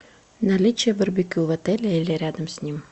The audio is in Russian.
наличие барбекю в отеле или рядом с ним